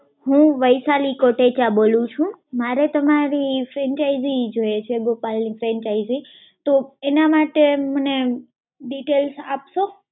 હું વૈશાલી કોટેચા બોલું છું. મારે તમારી franchise જોઈએ છે, ગોપાલ ની franchise. તો એના માટે મને details આપશો?